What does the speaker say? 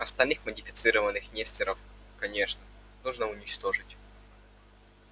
остальных модифицированных несторов конечно нужно уничтожить